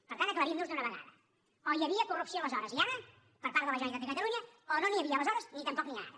per tant aclarim nos d’una vegada o hi havia corrupció aleshores i ara per part de la generalitat de catalunya o no n’hi havia aleshores ni tampoc n’hi ha ara